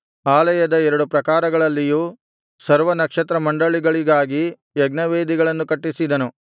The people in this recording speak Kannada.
ಆಲಯದ ಎರಡು ಪ್ರಾಕಾರಗಳಲ್ಲಿಯೂ ಸರ್ವನಕ್ಷತ್ರಮಂಡಲಗಳಿಗಾಗಿ ಯಜ್ಞವೇದಿಗಳನ್ನು ಕಟ್ಟಿಸಿದನು